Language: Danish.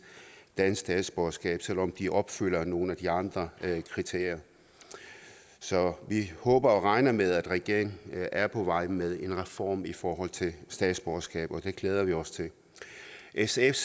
dansk statsborgerskab selv om de opfylder nogle af de andre kriterier så vi håber og regner med at regeringen er på vej med en reform i forhold til statsborgerskab og det glæder vi os til sfs